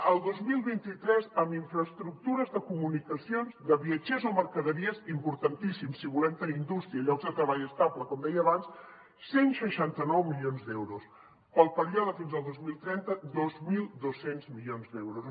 el dos mil vint tres en infraestructures de comunicacions de viatgers o mercaderies importantíssim si volem tenir indústria i llocs de treball estables com deia abans cent i seixanta nou milions d’euros per al període fins al dos mil trenta dos mil dos cents milions d’euros